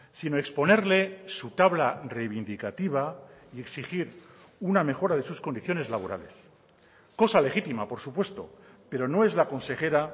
sino exponerle su tabla reivindicativa y exigir una mejora de sus condiciones laborales cosa legítima por supuesto pero no es la consejera